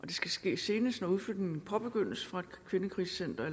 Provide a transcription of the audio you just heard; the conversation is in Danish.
det skal ske senest når udflytningen påbegyndes fra et kvindekrisecenter